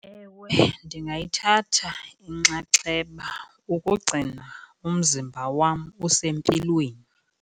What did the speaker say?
Ewe, ndingayithatha inxaxheba ukugcina umzimba wam usempilweni.